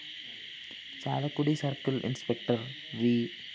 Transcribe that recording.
Chalakudy circle‍ inspector‍ V